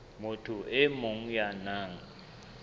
motho e mong ya nang